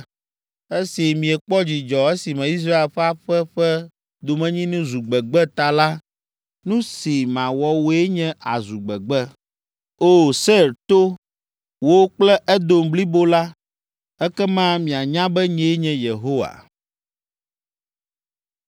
Esi miekpɔ dzidzɔ esime Israel ƒe aƒe ƒe domenyinu zu gbegbe ta la, nu si mawɔ wòe nye àzu gbegbe, O! Seir to, wò kple Edom blibo la. Ekema mianya be nyee nye Yehowa.” ’”